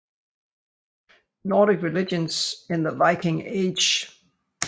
Nordic Religions in the Viking Age